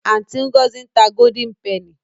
Aunty Ngozi n ta Golden Penny.